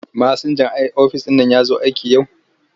Masinjan ofis ɗin nan ya zo aiki yau?